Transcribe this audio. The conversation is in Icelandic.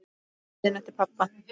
Biðin eftir pabba.